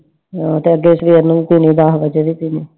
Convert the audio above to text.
ਦੱਸ ਵਜੇ ਵੀ ਪੀਣੀ